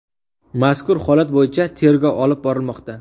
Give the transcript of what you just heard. Mazkur holat bo‘yicha tergov olib borilmoqda.